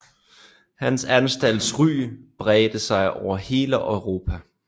Hans anstalts ry bredte sig over hele Europa